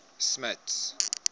smuts